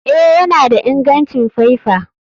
Eh, yana da ingancin faifa.